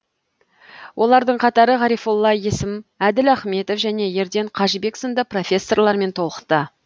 олардың қатары ғарифолла есім әділ ахметов және ерден қажыбек сынды профессорлармен толықты